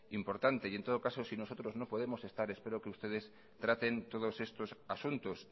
importante y en todo caso si nosotros no podemos estar espero que ustedes traten todos estos asuntos